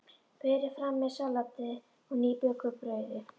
Berið fram með salati og nýbökuðu brauði.